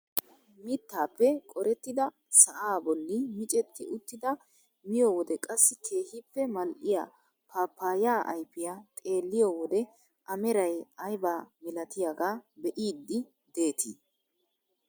Mittaappe qorettidi sa'aa bolli micetti uttida miyoo wode qassi keehippe mal"iyaa paappayaa ayfiyaa xeelliyoo wode a meray aybaa milatiyaaga be'iidi detii?